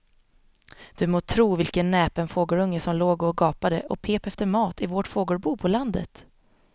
Du må tro vilken näpen fågelunge som låg och gapade och pep efter mat i vårt fågelbo på landet.